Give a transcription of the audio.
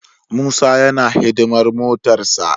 Musa yana hidimar motarsa.